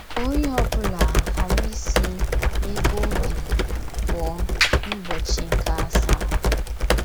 Ka onye ọ bụla ghara isi n’ebe o bi pụọ n’ụbọchị nke asaa. ”